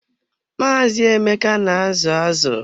Maazị Emeka na azu azụ.